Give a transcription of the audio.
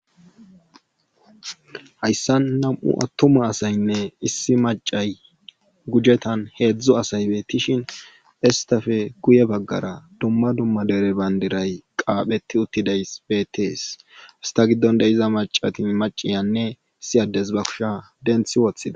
Hayssan nam7u attuma asaynne issi maccay gujetaan heedzdzu asay beettishin esttafe guye baggara dumma dumma dere banddiray qaaphetti uttidays beeettees hessa giddon de7iza maccati macciyanne issi addezi ba kushe denthi wothida.